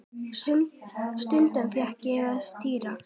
Stundum fékk ég að stýra.